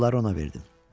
Pulları ona verdim.